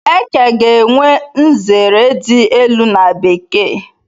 Eke ga-enwe nzere di elu n'bekee